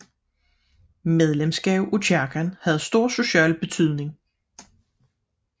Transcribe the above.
Medlemskab af kirken havde stor social betydning